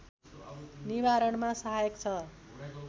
निवारणमा सहायक छ